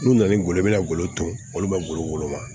N'u nana n'u ye i bɛna golo ton olu bɛ golo woloma